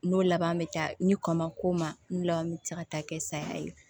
N'o laban bɛ taa ni kɔ ma k'o ma n laban bɛ taa ka taa kɛ saya ye